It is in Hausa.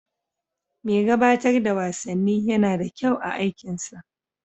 Mai gabatar da wasanni yana da kyau a aikinsa.